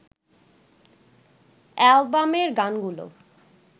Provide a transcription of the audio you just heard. অ্যালবামের গানগুলো